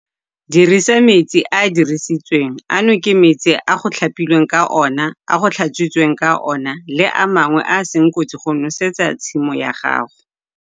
Dirisa "metsi a a dirisitsweng" - ano ke metsi a go tlhapilweng ka ona, a go tlhatswitsweng ka ona le a mangwe a a seng kotsi go nosetsa tshimo ya gago.